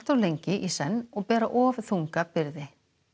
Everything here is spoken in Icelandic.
lengi í senn og bera of þunga byrði